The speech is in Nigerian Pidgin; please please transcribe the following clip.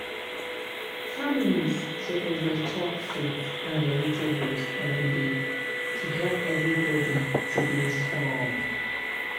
families suppose dey chop fruit and vegetables every day to help everybody to dey strong.